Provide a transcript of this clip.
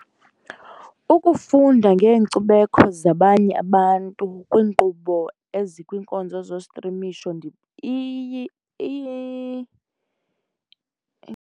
Ukufunda ngeenkcubeko zabanye abantu kwiinkqubo ezikwinkonzo zostrimisho .